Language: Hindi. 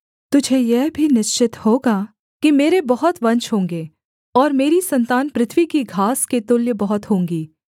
तुझे यह भी निश्चित होगा कि मेरे बहुत वंश होंगे और मेरी सन्तान पृथ्वी की घास के तुल्य बहुत होंगी